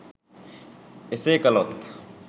එසේ කළොත්